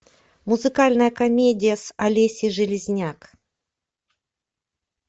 музыкальная комедия с олесей железняк